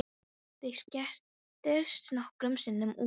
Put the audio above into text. Þau skattyrtust nokkrum sinnum út af því.